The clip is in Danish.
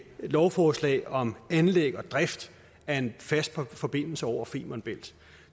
lovforslag om anlæg og drift af en fast forbindelse over femern bælt